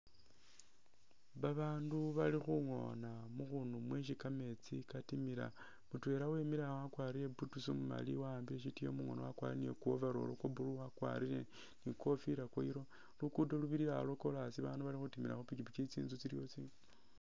Babanu bali khungona mukhunu mwesi kameetsi katimila, mutwela wemile awo wakwarire boots umumali wa'ambile sitiyo mukhoono wakwarire ni ku overall kwa blue wakwarire ni i'kofila ya yellow. Lugudo lubilila awo lwa kolas, bandu bali khutimila khu pikipiki, tsinzu tsiliwo tsingali.